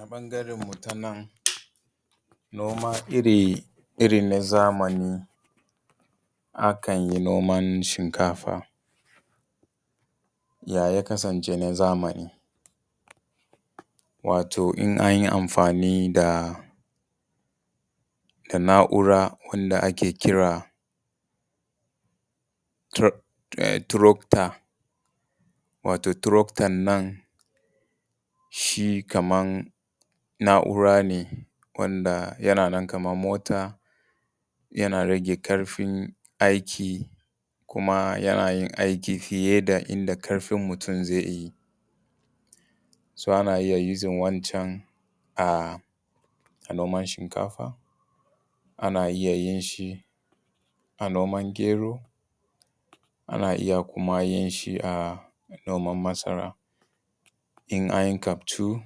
A ɓangaren mu ta nan noma irin na zamani, akan yi noman shinkafa. Ya ya kasance na zamani, wato in an yi amfani da na’ura wanda ake kira tracter, wato tracter nan shi kaman na’ura ne wanda yana nan kamar mota, yana rage ƙarfin aiki kuma yanayin aiki fiye da inda ƙarfin mutum zai yi. So ana iya using wancan a noman shinkafa, ana iya yinshi a noman gero, ana iya kuma yin shi a noman masara. in an yi kaftu,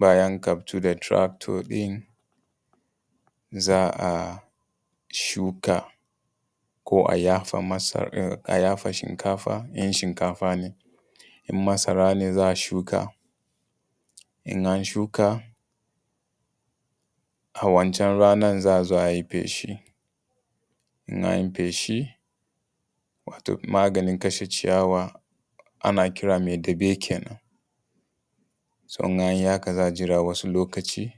bayan kaftu tractor ɗin, za a shuka ko a yafa masaran a yafa shinkafa in masara ne za a shuka in an shuka a wancan ranan za a zo a yi feshi in anyi feshi wato maganin kashe ciyawa, ana kira me tabe kenan. So in an yi haka za a jira wasu lokaci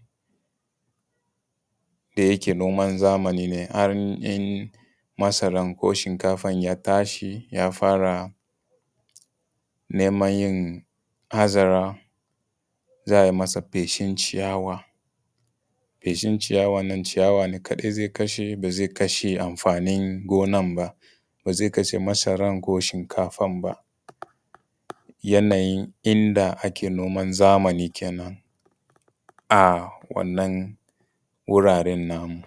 da yake noman zamani ne in an masaran ko shinkafan ya tashi, ya fara neman yin azara, za a yi masa feshin ciyawa. Feshin ciyawan nan ciyawa ne kaɗai zai kashe ba zai kashe amfanin gonan ba, ba zai kashe masaran ko shinkafan ba. yanayin inda ake noman zamani kenan a wannan wuraren namu.